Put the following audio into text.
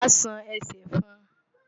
Wàá ṣan ẹsẹ̀ fún un!